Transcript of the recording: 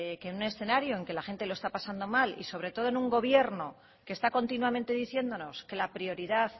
que en un escenario en que la gente lo está pasando mal y sobre todo en un gobierno que está continuamente diciéndonos que la prioridad